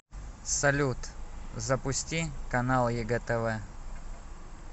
салют запусти канал егэ тв